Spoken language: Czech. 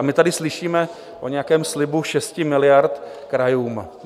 A my tady slyšíme o nějakém slibu 6 miliard krajům.